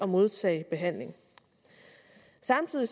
modtage behandling samtidig